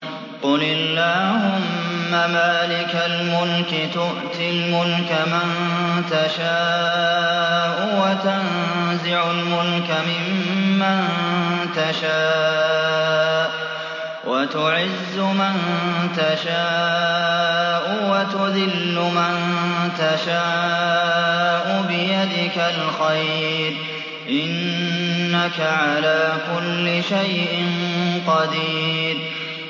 قُلِ اللَّهُمَّ مَالِكَ الْمُلْكِ تُؤْتِي الْمُلْكَ مَن تَشَاءُ وَتَنزِعُ الْمُلْكَ مِمَّن تَشَاءُ وَتُعِزُّ مَن تَشَاءُ وَتُذِلُّ مَن تَشَاءُ ۖ بِيَدِكَ الْخَيْرُ ۖ إِنَّكَ عَلَىٰ كُلِّ شَيْءٍ قَدِيرٌ